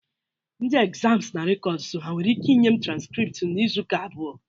Ndị ekzamz na rekọdus ha nwere ike inye m transkript m n'Izuụka abụọ?